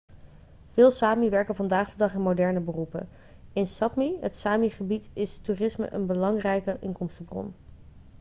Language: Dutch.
veel sámi werken vandaag de dag in moderne beroepen. in sápmi het sámi-gebied is toerisme is een belangrijke inkomstenbron